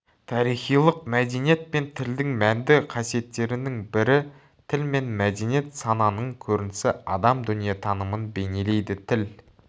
тарихилық мәдениет пен тілдің мәнді қасиеттерінің бірі тіл мен мәдениет сананың көрінісі адам дүниетанымын бейнелейді тіл